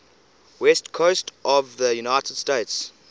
west coast of the united states